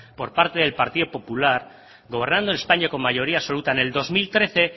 por parte del partido popular gobernando en españa con mayoría absoluta en el dos mil trece